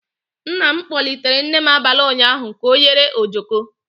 Nna m kpọlitere nne m abalị ụnyaahụ ka ọ yere ojoko.